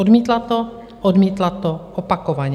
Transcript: Odmítla to, odmítla to opakovaně.